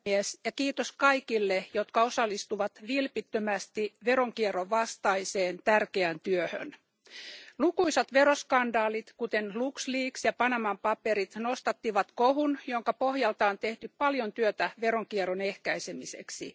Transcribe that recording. Arvoisa puhemies, kiitos kaikille, jotka osallistuvat vilpittömästi veronkierron vastaiseen tärkeään työhön. Lukuisat veroskandaalit, kuten LuxLeaks ja Panaman paperit, nostattivat kohun, jonka pohjalta on tehty paljon työtä veronkierron ehkäisemiseksi.